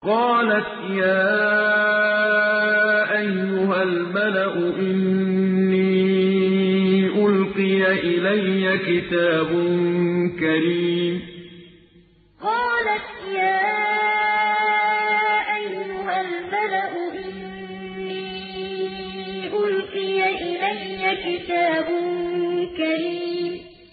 قَالَتْ يَا أَيُّهَا الْمَلَأُ إِنِّي أُلْقِيَ إِلَيَّ كِتَابٌ كَرِيمٌ قَالَتْ يَا أَيُّهَا الْمَلَأُ إِنِّي أُلْقِيَ إِلَيَّ كِتَابٌ كَرِيمٌ